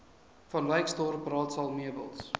vanwyksdorp raadsaal meubels